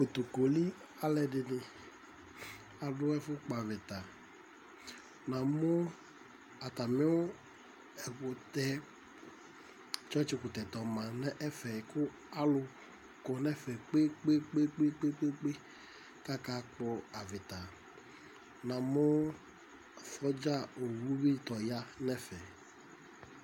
Kotokoli alʋɛdɩnɩ, adʋ ɛfʋkpɔ avɩta Namʋ atamɩ ɛkʋtɛ yɛ, tsɔtsɩkʋtɛ tɛ ɔma nʋ ɛfɛ kʋ alʋ kɔ nʋ ɛfɛ kpe-kpe-kpe kʋ akakpɔ avɩta Namʋ sɔdza owu bɩ sɛ ɔya nʋ ɛfɛ